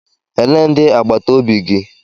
Elee ndị agbata obi gị?